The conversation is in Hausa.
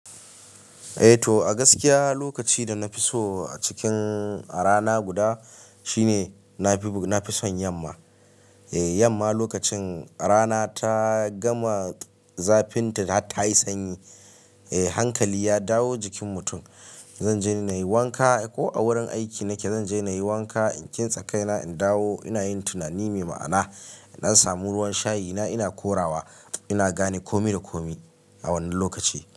Eh to, a gaskiya lokaci da na fi so a cikin a rana guda shine na fi, na fi son yamma. Eh yamma lokacin rana ta gama zafinta ta yi sanyi, eh hankali ya dawo jikin mutum. Zan je na yi wanka ko a wurin aiki nake zan je na yi wanka, in kintsa kaina in dawo ina yin tunani mai ma'ana. Na samu ruwan shayi na, ina korawa ina gane komi da komi a wannan lokaci.